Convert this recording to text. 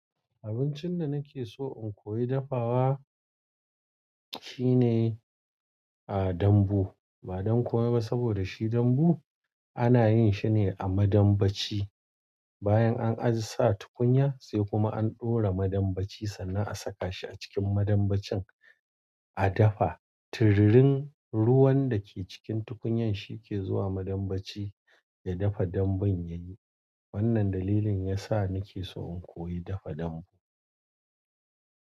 Abincin da nake so in koyi dafawa shine, a, dambu. Ba don komai ba saboda shi dambu ana yin shine a madambaci. Bayan an ajiye sa tukunya sai kuma an ɗora madambaci sannan a saka shi a cikin madambacin a dafa. Turirin ruwan da ke cikin tukunyan shi ke zuwa madambaci ya dafa dambun yayi. Wannan dalilin yasa nake so in koyi dafa dambu.